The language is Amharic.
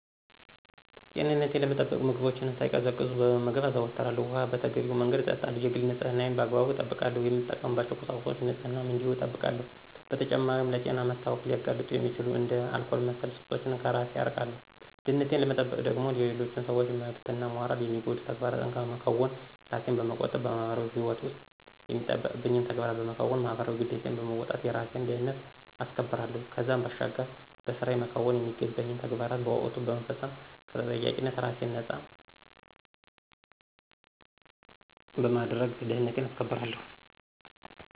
ጤንነቴን ለመጠበቅ ምግቦችን ሳይቀዘቅዙ መመገብ አዘወትራለሁ፣ ውኃ በተገቢው መንገድ እጠጣለሁ፣ የግል ንፅህናዬን በአግባቡ እጠብቃለሁ፣ የምጠቀምባቸውን ቁሳቁሶች ንፅህናም እንዲሁ እጠብቃለሁ። በተጨማሪም ለጤና መታወክ ሊያጋልጡ የሚችሉ እንደ አልኮል መሠል ሱሶችን ከራሴን አርቃለሁ። ደህንነቴን ለመጠበቅ ደግሞ የሌሎችን ሰዎች መብትና ሞራል የሚጎዱ ተግባራትን ከመከወን ራሴን በመቆጠብ በማህበራዊ ህይወት ውስጥ የሚጠበቅብኝን ተግባራት በመከወን ማህበራዊ ግዴታዬን በመወጣት የራሴን ደህንነት አስከብራለሁ። ከዛም ባሻገር በስራየ መከወን የሚገባኝን ተግባራት በወቅቱ በመፈፀም ከተጠያቂነት ራሴን ነፃ በማድረግ ደህንነቴን አስከብራለሁ።